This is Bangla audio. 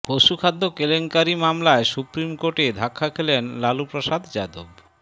পশুখাদ্য কেলেঙ্কারি মামলায় সুপ্রিম কোর্টে ধাক্কা খেলেন লালুপ্রসাদ যাদব